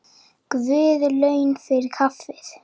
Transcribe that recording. Guð laun fyrir kaffið.